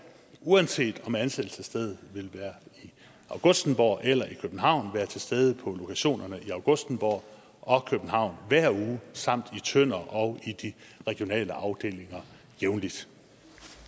uanset om ansættelsesstedet vil være i augustenborg eller i københavn være til stede på lokationerne i augustenborg og københavn hver uge samt i tønder og i de regionale afdelinger jævnligt